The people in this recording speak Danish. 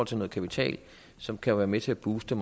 til kapital som kan være med til at booste